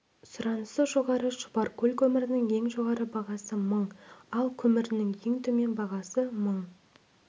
сұранысы жоғары шұбаркөл көмірінің ең жоғары бағасы мың ал көмірінің ең төмен бағасы мың